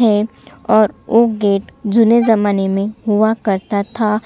है और ओ गेट जुने ज़माने में हुआ करता था